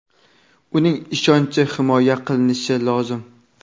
uning ishonchi himoya qilinishi lozim.